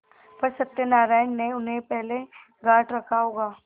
पर सत्यनारायण ने उन्हें पहले गॉँठ रखा होगा